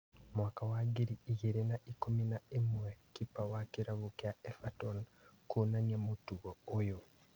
Mwaka wa ngiri igĩrĩ ikũmi na ĩmwe kipa wa kĩrabu kĩa Everton kũinania mũtugo ũyũ